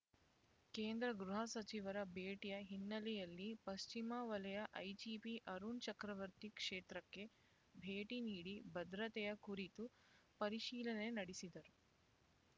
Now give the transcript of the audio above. ಕೇಂದ್ರ ಗೃಹ ಸಚಿವರ ಭೇಟಿಯ ಹಿನ್ನೆಲೆಯಲ್ಲಿ ಪಶ್ಚಿಮ ವಲಯ ಐಜಿಪಿ ಅರುಣ್ ಚಕ್ರವರ್ತಿ ಕ್ಷೇತ್ರಕ್ಕೆ ಭೇಟಿ ನೀಡಿ ಭದ್ರತೆಯ ಕುರಿತು ಪರಿಶೀಲನೆ ನಡೆಸಿದರು